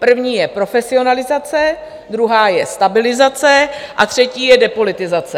První je profesionalizace, druhá je stabilizace a třetí je depolitizace.